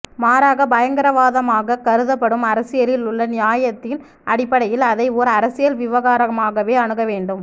மாறாக பயங்கரவாதமாகக் கருதப்படும் அரசியலில் உள்ள நியாயத்தின் அடிப்படையில் அதை ஓர் அரசியல் விவகாரமாகவே அணுக வேண்டும்